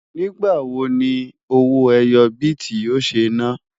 ní igbà wò ní owó ẹyọ biti yó ṣé nà?